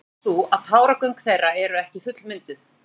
Ástæðan er sú að táragöng þeirra eru ekki fullmynduð.